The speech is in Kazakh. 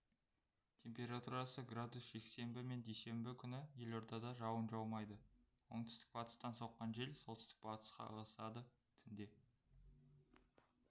температурасы градус жексенбі мен дүйсенбі күні елордада жауын жаумайды оңтүстік-батыстан соққан жел солтүстік-батысқа ығысады түнде